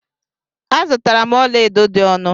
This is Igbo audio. Azutara m ọla edo dị ọnụ.